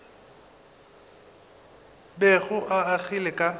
bego o o agile ka